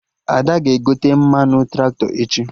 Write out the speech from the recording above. Ada ga-egote mmanụ Traktọ echi